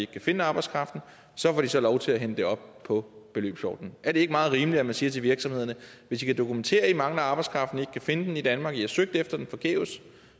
kan finde arbejdskraften så får de så lov til at hente det op på beløbsordningen er det ikke meget rimeligt at man siger til virksomhederne hvis i kan dokumentere at i mangler arbejdskraften og ikke kan finde den i danmark at i har søgt efter den forgæves